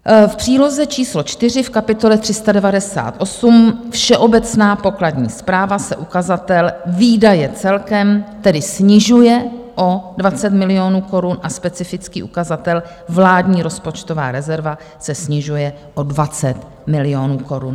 V příloze číslo 4 v kapitole 398, Všeobecná pokladní správa, se ukazatel Výdaje celkem tedy snižuje o 20 milionů korun a specifický ukazatel Vládní rozpočtová rezerva se snižuje o 20 milionů korun.